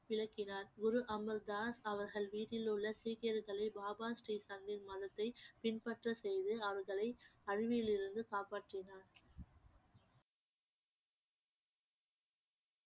விளக்கினார் குரு அமர்தாஸ் அவர்கள் வீட்டில் உள்ள சீக்கியர்களை பாபா ஸ்ரீ மதத்தை பின்பற்ற செய்து அவர்களை அழிவில் இருந்து காப்பாற்றினார்